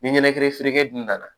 Ni ɲɛnɛkɛ feerenkɛ dun nana